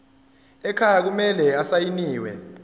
ekhaya kumele asayiniwe